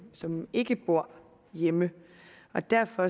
som ikke bor hjemme og derfor